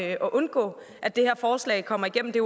at undgå at det her forslag kommer igennem det